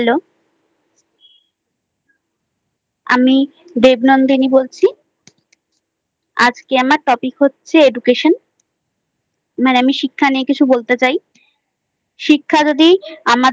Hello আমি Debnandini বলছি। আজকে আমার Topic হচ্ছে Education I মানে আমি শিক্ষা নিয়ে কিছু বলতে চাই। শিক্ষা যদি আমাদের